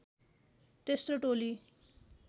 तेस्रो टोली